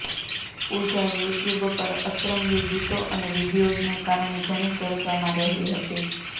પૂજા YouTube પર અતરંગી ગીતો અને વીડિયોઝને કારણે ઘણી ચર્ચમાં રહી હતી